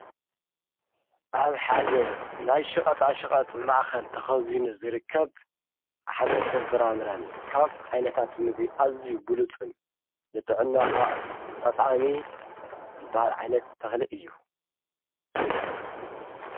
ኣብ ሓደ ናይ ሽቐጥኣሽቐጥ መኣኸል ተኸዙይኒ ዝርከብ ሓመልተ ንፈራምረን ካብ ዓይነታት ምቢ ኣዝዩ ብሉፁን ንጥዕናኻ ጠቓሜ ዘበሃል ዓይነት ተኽልእ እዩ።